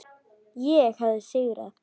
Ég hafði sigrað.